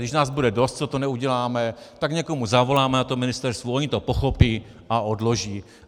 Když nás bude dost, co to neuděláme, tak někomu zavoláme na tom ministerstvu, oni to pochopí a odloží.